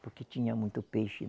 Porque tinha muito peixe.